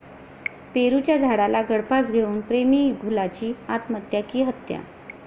पेरूच्या झाडाला गळफास घेऊन प्रेमीयुगुलाची आत्महत्या की हत्या?